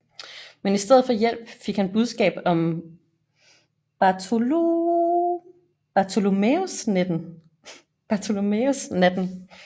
Men i stedet for hjælp fik han budskab om Bartholomæusnatten